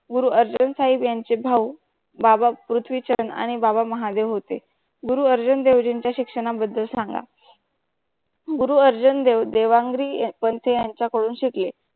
गुरु अर्जुन साहिब यांचे भाऊ बाबा पृथ्वीछंद आणि बाबा महादेव होते. गुरु अर्जुन देवजींच्या शिक्षणा बद्दल सांगा गुरु अर्जुन देव देवांगरी पण ते यांचा करून शिकले.